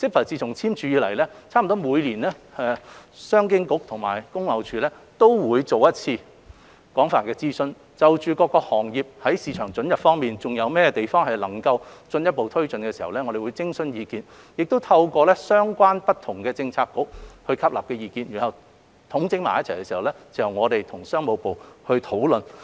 自簽署 CEPA 以來，商經局和工業貿易署幾乎每年都會作一次廣泛諮詢，就各行業在市場准入方面如何進一步推進徵詢意見，亦透過相關政策局吸納不同意見，整理之後由商經局與商務部討論。